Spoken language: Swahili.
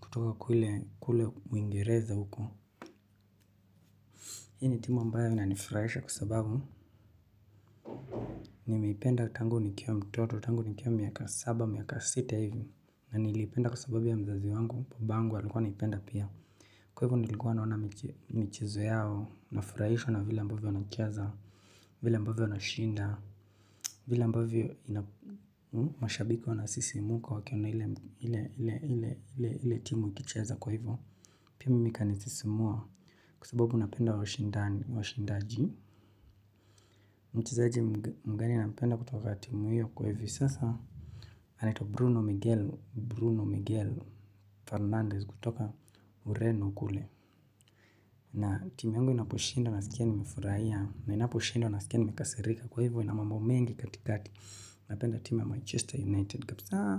kutoka kule kule uingereza huko. Hii ni timu ambayo ina nifurahisha kwa sababu nimeipenda tangu nikiwa mtoto tangu ni kiwa miaka saba miaka sita hivi na niliipenda kwa sababu ya mzazi wangu baba yangu alikwa anaipenda pia. Kwa hivyo nilikuwa naona mchezo yao nafurahishwa na vila ambavyo wana cheza vile ambavyo wana shinda. Vile ambavyo ina mashabiki wana msisimko wakiona ile timu ikicheza kwa hivyo pia mimi kani sisimua kwa sababu napenda washindani washindaji. Mchezaje mgani anapenda kutoka timu hiyo kwa hivyo sasa. Anaitwa Bruno Miguel Bruno Miguel Fernandez kutoka ureno kule. Na timu yangu inaposhinda na sikia ni nimefurahia. Ninapo shindwa nasikia nimekasirika kwa hivyo ina mambo mengi katikati. Napenda timu ya Manchester United kabisa.